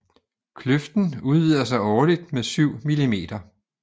Kløften udvider sig årligt med syv millimeter